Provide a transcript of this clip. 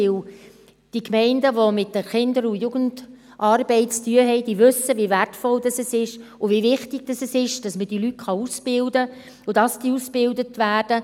Denn die Gemeinden, die mit Kinder- und Jugendarbeit zu tun haben, wissen, wie wertvoll und wie wichtig es ist, dass diese Leute ausgebildet werden können beziehungsweise dass diese ausgebildet werden.